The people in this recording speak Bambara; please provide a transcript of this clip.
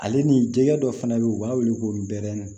Ale ni jɛgɛ dɔ fana bɛ yen u b'a wele ko bɛɛrɛni